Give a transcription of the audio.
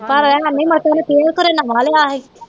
ਨਮਾ ਲੇਆ ਸੀ